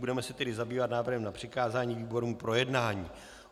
Budeme se tedy zabývat návrhem na přikázání výborům k projednání.